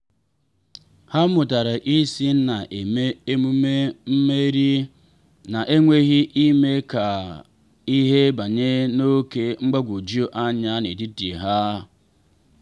ha mụtara isi na eme emume mmeri ha n’enweghị ime ka ihe banye n’oké mgbagwoju anya n’etiti ha.